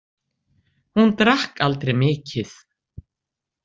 Hún drakk aldrei mikið.